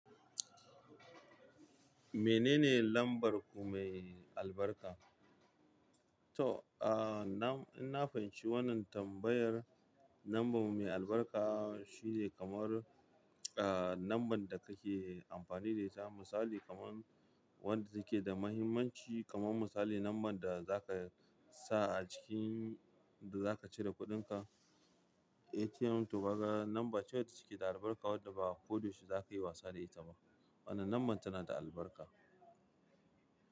Menene lambar ku mai albarka? To, ah, na, ina fahimci wannan tambayar. Lambar mai albarka shine kamar, ah, lambar da kake amfani da ita. Misali kaman wanda take da mahimmanci kaman misali number da zaka sa acikin da zaka cire kudin ka, atm to kaga lambar ce wadda take da albarka wadda ba ko da yaushe za ka yi wasa da ita ba. Wannan lambar tana da albarka.